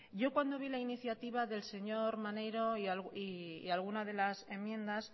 yo cuando vi la iniciativa del señor maneiro y alguna de las enmiendas